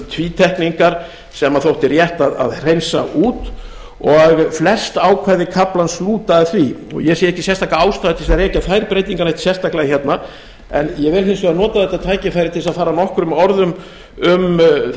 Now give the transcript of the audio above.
tvítekningar sem þótti rétt að hreinsa út og flest ákvæði kaflans lúta að því og ég sé ekki sérstaka ástæðu til þess að rekja þær breytingar neitt sérstaklega hérna en ég vil hins vegar nota þetta tækifæri til að fara nokkrum orðum um